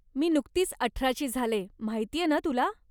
मी नुकतीच अठराची झाले, माहितीये ना तुला?